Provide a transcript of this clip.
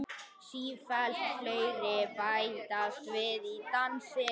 Sífellt fleiri bætast við í dansinn.